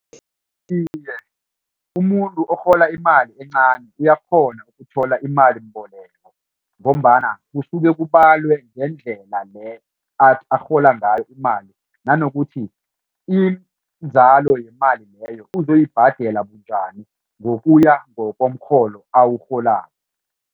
Iye umuntu orhola imali encani uyakghona ukuthola imalimboleko ngombana kusuke kubalwe ngendlela leyo arhola ngayo imali nanokuthi inzalo yemali leyo uzoyibhadela bunjani ngokuya ngokomrholo awurholako.